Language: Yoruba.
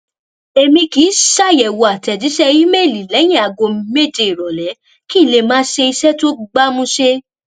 èmi kì í ṣàyẹwò àtèjíṣẹ ímeèlì lẹyìn aago méje ìrọlẹ kí n lè máa ṣe iṣẹ tó gbámúṣé